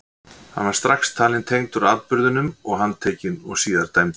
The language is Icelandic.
hann var strax talinn tengdur atburðinum og handtekinn og síðar dæmdur